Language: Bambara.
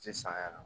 Tɛ san yɛrɛ